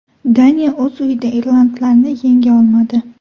Daniya o‘z uyida irlandlarni yenga olmadi.